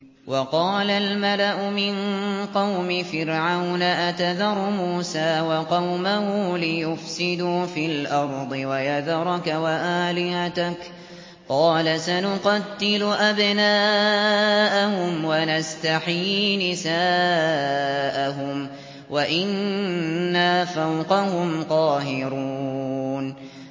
وَقَالَ الْمَلَأُ مِن قَوْمِ فِرْعَوْنَ أَتَذَرُ مُوسَىٰ وَقَوْمَهُ لِيُفْسِدُوا فِي الْأَرْضِ وَيَذَرَكَ وَآلِهَتَكَ ۚ قَالَ سَنُقَتِّلُ أَبْنَاءَهُمْ وَنَسْتَحْيِي نِسَاءَهُمْ وَإِنَّا فَوْقَهُمْ قَاهِرُونَ